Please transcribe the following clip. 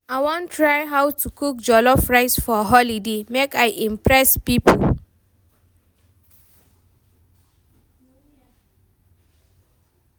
I wan try learn how to cook jollof rice for holiday, make I impress pipo.